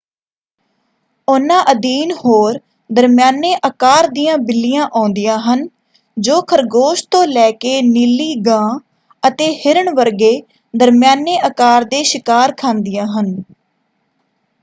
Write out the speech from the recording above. ਉਹਨਾਂ ਅਧੀਨ ਹੋਰ ਦਰਮਿਆਨੇ ਆਕਾਰ ਦੀਆਂ ਬਿੱਲੀਆ ਆਉਂਦੀਆਂ ਹਨ ਜੋ ਖਰਗੋਸ਼ ਤੋਂ ਲੈ ਕੇ ਨੀਲੀ ਗਾਂ ਅਤੇ ਹਿਰਨ ਵਰਗੇ ਦਰਮਿਆਨੇ ਆਕਾਰ ਦੇ ਸ਼ਿਕਾਰ ਖਾਂਦੀਆਂ ਹਨ।